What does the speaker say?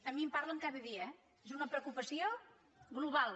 a mi me’n parlen cada dia eh és una preocupació global